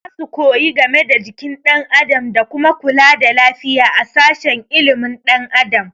Za su koyi game da jikin ɗan adam da kuma kula da lafiya a sashen ilimin ɗan adam